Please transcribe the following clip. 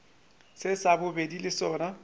se sa bobedi le sona